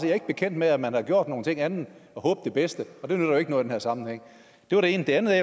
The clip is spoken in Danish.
jeg ikke bekendt med at man har gjort nogen ting andet end at håbe det bedste og det nytter jo ikke noget i den her sammenhæng det var det ene det andet er